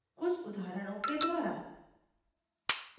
कुछ उदाहरणों के द्वारा